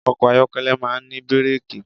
Ọkọ̀ ayọ́kẹ́lẹ̀ máà ń ní bírẹ́kì.